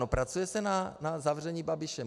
No, pracuje se na zavření Babiše.